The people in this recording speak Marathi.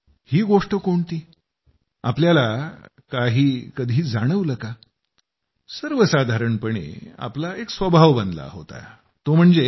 ही गोष्ट कोणती तुम्हा काही कधी जाणवलं का सर्वसाधारणपणे आपला एक स्वभाव बनला होता तो म्हणजे